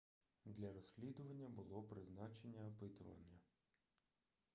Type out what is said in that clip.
для розслідування було призначене опитування